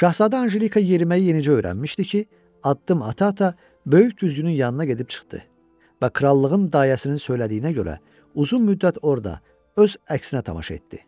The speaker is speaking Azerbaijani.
Şahzadə Anjelika yeriməyi yenicə öyrənmişdi ki, addım-ata-ata böyük güzgünün yanına gedib çıxdı və krallığın dayəsinin söylədiyinə görə, uzun müddət orada öz əksinə tamaşa etdi.